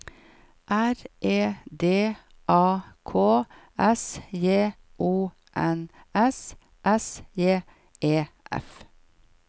R E D A K S J O N S S J E F